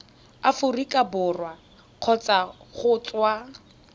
aforika borwa kgotsa go tswa